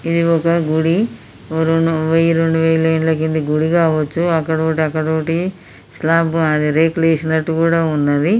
ఇది ఒక గుడి. ఓ రొండు వెయ్యి రొండు వేల ఏండ్ల క్రింది గుడి కావచ్చు. అక్కడోటి అక్కడోటి స్లూపు అది రేకులేసినట్టుగా కూడా ఉన్నది.